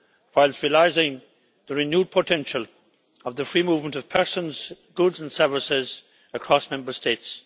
whilst realising the renewed potential of the free movement of persons, goods and services across Member States.